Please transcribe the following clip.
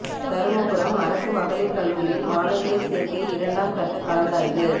தருமபுரம் அரசு மகளிா் கல்லூரியில் மாணவியா் சோ்க்கை இரண்டாம் கட்டக் கலந்தாய்வு